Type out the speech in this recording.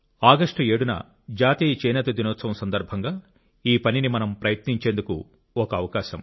August 7 న వస్తున్న జాతీయ చేనేత దినోత్సవం ఈ పనిని మనం ప్రయత్నించేందుకు ఒక సందర్భం